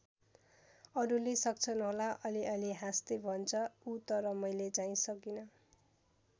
अरूले सक्छन् होला अलिअलि हाँस्दै भन्छ ऊ तर मैले चाहिँ सकिँन।